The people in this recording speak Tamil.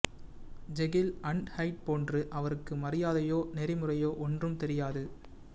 ஜெகில் அன்ட் ஹைட் போன்று அவருக்கு மரியாதையோ நெறிமுறையோ ஒன்றும் தெரியாது